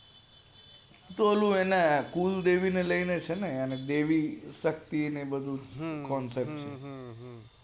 વો પેલું ને કુળદેવી ને લઈને છે ને દેવી શક્તિ અને એ બધું concept છે